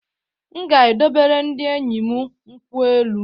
Nga edowere ndi enyi m nkwụ-elụ